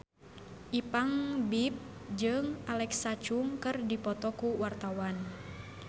Ipank BIP jeung Alexa Chung keur dipoto ku wartawan